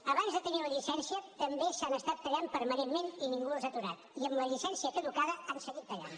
abans de tenir la llicència també s’han estat tallant permanentment i ningú els ha aturat i amb la llicència caducada han seguit tallant